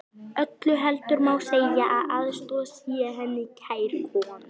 Öllu heldur má segja að aðstoð sé henni kærkomin.